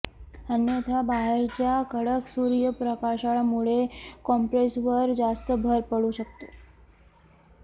अन्यथा बाहेरच्या कडक सूर्यप्रकाशामुळे कॉम्प्रेसरवर जास्त भर पडू शकतो